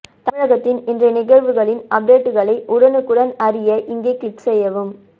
தமிழகத்தின் இன்றைய நிகழ்வுகளின் அப்டேட்டுகளை உடனுக்குடன் அறிய இங்கே க்ளிக் செய்யவும்